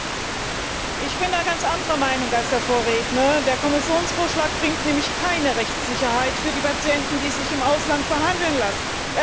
Herr Präsident! Ich bin da ganz anderer Meinung als mein Vorredner. Der Kommissionsvorschlag bringt nämlich keine Rechtssicherheit für die Patienten, die sich im Ausland behandeln lassen.